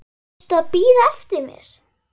Varstu að bíða eftir mér?